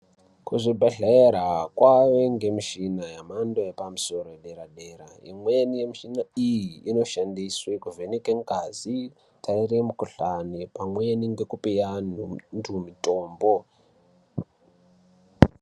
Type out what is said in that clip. kuzvibhedhlera kwave ngemishina yemhando yepamusoro yedera dera. Imweni yemishina iyi inoshandiswe kuvheneke ngazi, kutarire mikhuhlane pamwe ngekupe antu mitombo.